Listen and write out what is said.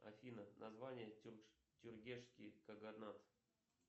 афина название тюргешский каганат